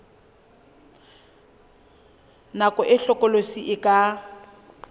nako e hlokolosi e ka